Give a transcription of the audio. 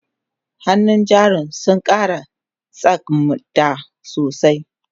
hannun jarin sun Kara tsakmda sosai